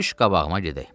Düş qabağıma gedək.